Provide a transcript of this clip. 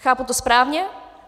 Chápu to správně?